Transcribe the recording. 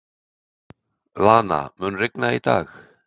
Lana, mun rigna í dag?